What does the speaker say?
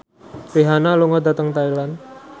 Rihanna lunga dhateng Thailand